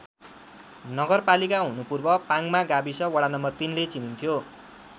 नगरपालिका हुनु पूर्व पाङमा गाविस वडा नम्बर ३ ले चिनिन्थ्यो।